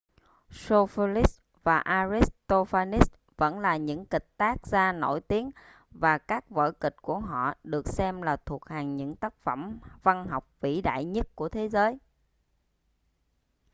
sophocles và aristophanes vẫn là những kịch tác gia nổi tiếng và các vở kịch của họ được xem là thuộc hàng những tác phẩm văn học vĩ đại nhất của thế giới